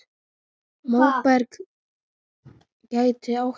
Móberg gæti átt við